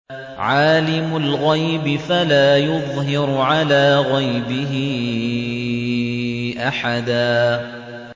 عَالِمُ الْغَيْبِ فَلَا يُظْهِرُ عَلَىٰ غَيْبِهِ أَحَدًا